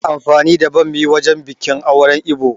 Ana amfani da ɓammi wajen biƙin auren Ibo